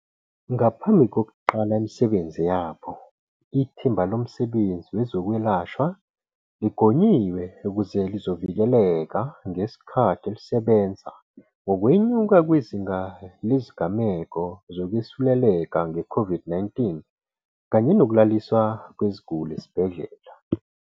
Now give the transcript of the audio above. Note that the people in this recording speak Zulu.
Ngaphambi kokuqala imisebenzi yabo, Ithimba Lomsebenzi Wezokwelashwa ligonyiwe ukuze lizovikeleka ngesikhathi lisebenza ngokwenyuka kwezinga lezigameko zokwesuleleka nge-COVID-19 kanye nokulaliswa kweziguli esibhedlela.